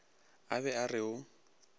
a be a re o